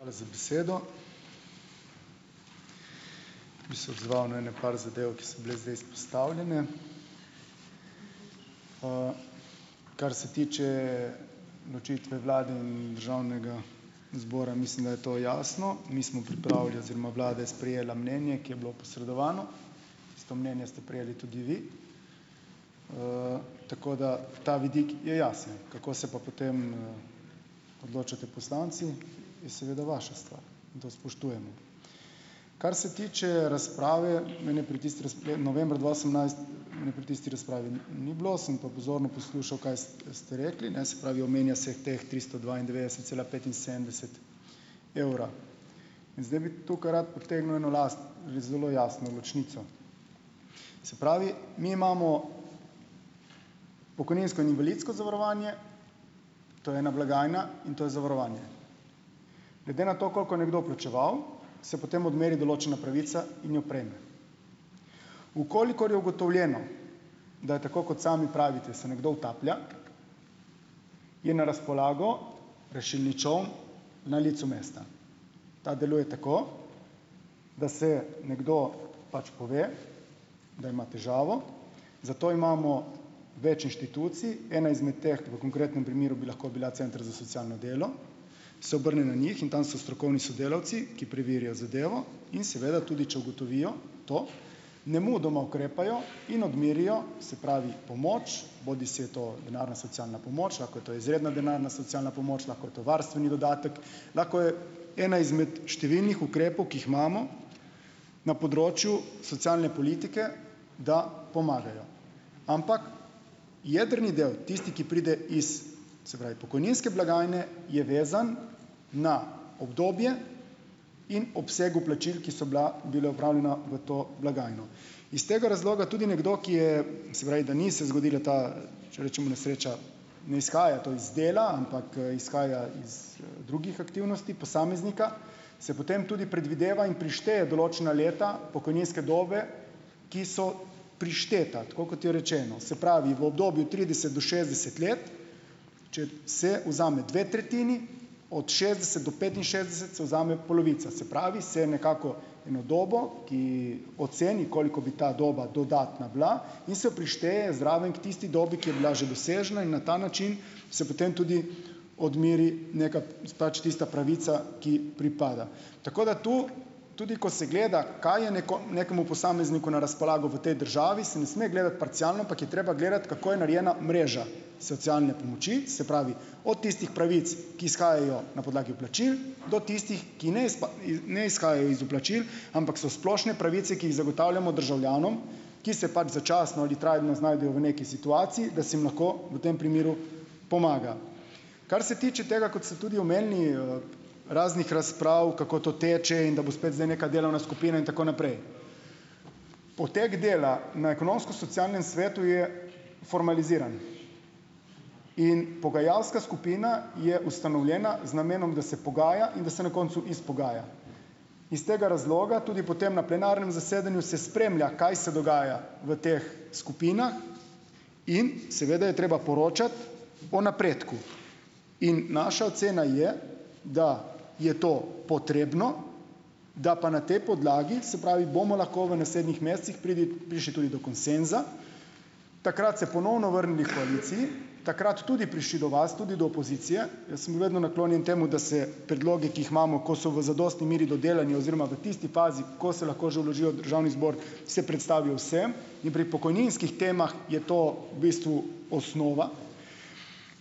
Hvala za besedo. Bi se odzval na ene par zadev, ki so bile zdaj izpostavljene. Kar se tiče odločitve vlade in državnega zbora, mislim, da je to jasno - mi smo pripravili oziroma vlada je sprejela mnenje, ki je bilo posredovano, isto mnenje ste prejeli tudi vi, tako da ta vidik je jasen, kako se pa potem, odločate poslanci, je seveda vaša stvar. In to spoštujemo. Kar se tiče razprave, mene pri tisti novembra dva osemnajst mene pri tisti razpravi ni ni bilo, sem pa pozorno poslušal, kaj ste rekli, ne. Se pravi, omenja se teh tristo dvaindevetdeset cela petinsedemdeset evra in zdaj bi tukaj rad potegnil eno jasno zelo jasno ločnico. Se pravi, mi imamo pokojninsko in invalidsko zavarovanje, to je ena blagajna in to je zavarovanje. Glede na to, koliko je nekdo plačeval, se potem odmeri določena pravica in jo prejme. V kolikor je ugotovljeno, da je tako, kot sami pravite, se nekdo utaplja, je na razpolago rešilni čoln na licu mesta. Ta deluje tako, da se nekdo pač pove, da ima težavo, zato imamo več inštitucij, ena izmed teh v konkretnem primeru bi lahko bila center za socialno delo, se obrne na njih in tam so strokovni sodelavci, ki preverijo zadevo, in seveda tudi če ugotovijo, to nemudoma ukrepajo in odmerijo, se pravi pomoč, bodisi je to denarna socialna pomoč, lahko je to izredna denarna socialna pomoč, lahko je to varstveni dodatek, lahko je ena izmed številnih ukrepov, ki jih imamo na področju socialne politike, da pomagajo. Ampak jedrni del, tisti, ki pride iz, se pravi, pokojninske blagajne, je vezan na obdobje in obseg vplačil, ki so bila bila opravljena v to blagajno, iz tega razloga tudi nekdo, ki je, se pravi, da ni se zgodila ta, če rečemo nesreča, ne izhaja to iz dela, ampak, izhaja iz drugih aktivnosti posameznika, se potem tudi predvideva in prišteje določena leta pokojninske dobe, ki so prišteta, tako kot je rečeno. Se pravi, v obdobju trideset do šestdeset let, če se vzame dve tretjini od šestdeset do petinšestdeset, se vzame polovica. Se pravi, se nekako eno dobo, ki oceni, koliko bi ta doba dodatna bila, in se prišteje zraven k tisti dobi, ki je bila že dosežena in na ta način se potem tudi odmeri neka, pač tista pravica, ki pripada. Tako da tu tudi, ko se gleda, kaj je nekemu posamezniku na razpolago v tej državi, se ne sme gledati parcialno, ampak je treba gledati, kako je narejena mreža socialne pomoči, se pravi od tistih pravic, ki izhajajo na podlagi vplačil, do tistih, ki ne ne izhajajo iz vplačil, ampak so splošne pravice, ki jih zagotavljamo državljanom, ki se pač začasno ali trajno znajdejo v neki situaciji, da se jim lahko v tem primeru pomaga. Kar se tiče tega, kot ste tudi omenili, raznih razprav, kako to teče in da bo spet zdaj neka delovna skupina in tako naprej. Potek dela na ekonomsko-socialnem svetu je formaliziran in pogajalska skupina je ustanovljena z namenom, da se pogaja in da se na koncu izpogaja. Iz tega razloga tudi potem na plenarnem zasedanju se spremlja, kaj se dogaja v teh skupinah, in seveda je treba poročati o napredku. In naša ocena je, da je to potrebno, da pa na tej podlagi, se pravi, bomo lahko v naslednjih mesecih prišli tudi do konsenza, takrat se ponovno vrnili h koaliciji, takrat tudi prišli do vas, tudi do opozicije. Jaz sem bil vedno naklonjen temu, da se predlogi, ki jih imamo, ko so v zadostni meri dodelani oziroma v tisti fazi, ko se lahko že vložijo v državni zbor, se predstavijo vsem in pri pokojninskih temah je to v bistvu osnova.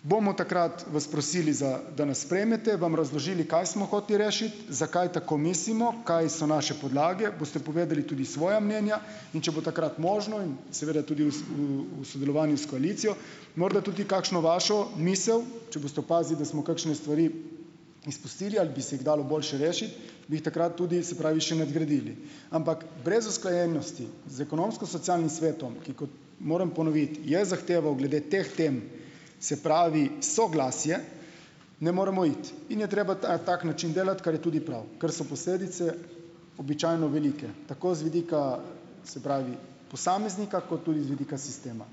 Bomo takrat vas prosili za, da nas sprejmete, vam razložili, kaj smo hoteli rešiti, zakaj tako mislimo, kaj so naše podlage, boste povedali tudi svoja mnenja. In če bo takrat možno in seveda tudi v v, v sodelovanju s koalicijo morda tudi kakšno vašo misel, če boste opazili, da smo kakšne stvari izpustili, ali bi se jih dalo boljše rešiti, bi jih takrat tudi, se pravi, še nadgradili. Ampak brez usklajenosti z ekonomsko-socialnim svetom, ki, kot moram ponoviti, je zahteval glede teh tem, se pravi soglasje, ne moremo iti in je treba tak način delati, kar je tudi prav, ker so posledice običajno velike, tako z vidika se pravi posameznika kot tudi z vidika sistema.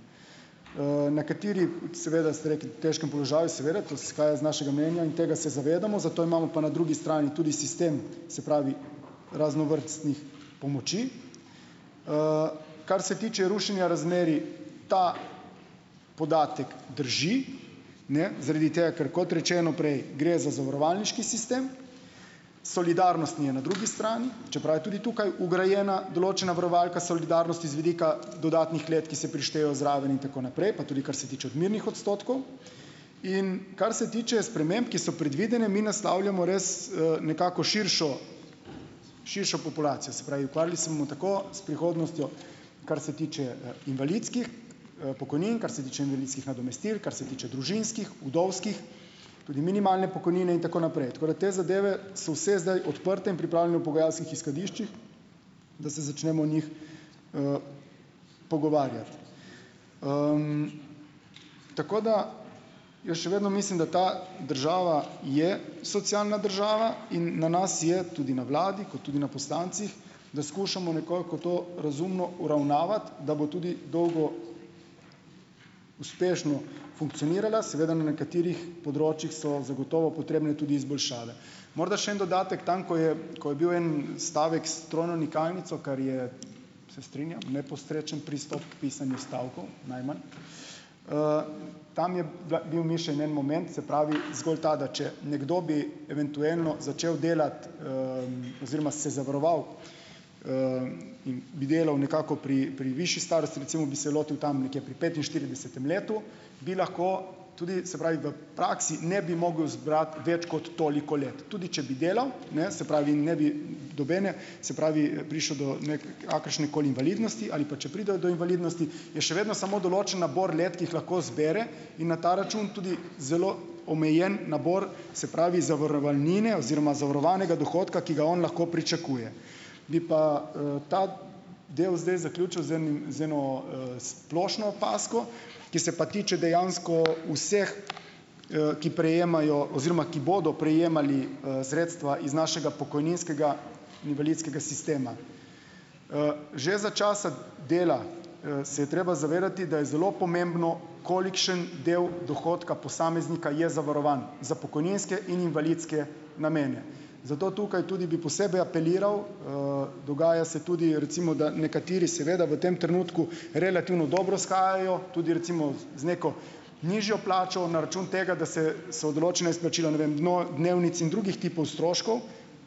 Nekateri seveda, ste rekli, v težkem položaju, seveda, to izhaja iz našega mnenja in tega se zavedamo, zato imamo pa na drugi strani tudi sistem, se pravi raznovrstnih pomoči. Kar se tiče rušenja razmerij, ta podatek drži, ne, zaradi tega, ker kot rečeno prej, gre za zavarovalniški sistem, solidarnostni je na drugi strani, čeprav je tudi tukaj vgrajena določena varovalka solidarnosti z vidika dodanih let, ki se prištejejo zraven in tako naprej, pa tudi kar se tiče odmernih odstotkov. In kar se tiče sprememb, ki so predvidene, mi naslavljamo res, nekako širšo širšo populacijo, se pravi, ukvarjali se bomo tako s prihodnostjo, kar se tiče, invalidskih, pokojnin, kar se tiče invalidskih nadomestil, kar se tiče družinskih, vdovskih, tudi minimalne pokojnine in tako naprej, tako da te zadeve so vse zdaj odprte in v pripravljanju v pogajalskih izhodiščih, da se začnemo o njih, pogovarjati. tako da jaz še vedno mislim, da ta država je socialna država in na nas je, tudi na vladi, kot tudi na poslancih, da skušamo nekoliko to razumno uravnavati, da bo tudi dolgo uspešno funkcionirala, seveda na nekaterih področjih so zagotovo potrebne tudi izboljšave. Morda še en dodatek tam, ko je ko je bil en stavek s trojno nikalnico, kar je, se strinjam, neposrečen pristop k pisanju stavkov, najmanj, tam je bila, bil mišljeno en moment, se pravi, zgolj tako, da če nekdo bi eventualno začel delati, oziroma se zavaroval, in bi delal nekako pri pri višji starosti, recimo bi se lotil tam nekje pri petinštiridesetem letu, bi lahko tudi, se pravi, v praksi ne bi mogel zbrati več kot toliko let, tudi če bi delal, ne, se pravi, ne bi nobene, se pravi, prišlo do nikakršne koli invalidnosti, ali pa če pride do invalidnosti, je še vedno samo določen nabor let, ki jih lahko zbere in na ta račun tudi zelo omejen nabor, se pravi, zavarovalnine oziroma zavarovanega dohodka, ki ga on lahko pričakuje. Bi pa, ta del zdaj zaključil z enim, z eno, splošno opazko, ki se pa tiče dejansko vseh, ki prejemajo oziroma ki bodo prejemali, sredstva iz našega pokojninskega invalidskega sistema. Že za časa dela, se je treba zavedati, da je zelo pomembno, kolikšen del dohodka posameznika je zavarovano za pokojninske in invalidske namene. Zato tukaj tudi bi posebej apeliral, dogaja se tudi, recimo da, nekateri seveda v tem trenutku relativno dobro shajajo, tudi recimo z neko, nižjo plačo na račun tega, da se so določena izplačila ne vem dnevnic in drugih tipov stroškov,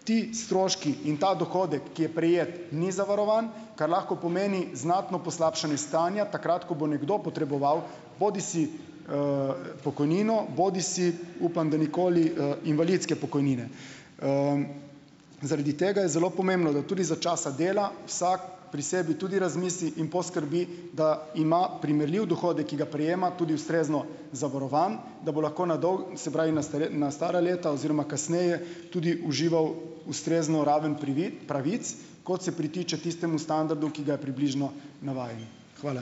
ti stroški in ta dohodek, ki je prejet, ni zavarovan, kar lahko pomeni znatno poslabšanje stanja, takrat ko bo nekdo potreboval, bodisi, pokojnino, bodisi, upam, da nikoli, invalidske pokojnine. Zaradi tega je zelo pomembno, da tudi za časa dela, vsako pri sebi tudi razmisli in poskrbi, da ima primerljiv dohodek, ki ga prejema, tudi ustrezno zavarovan, da bo lahko na se pravi, na na stara leta oziroma kasneje tudi užival ustrezno raven pravic, kot se pritiče tistemu standardu, ki ga je približno navajen. Hvala.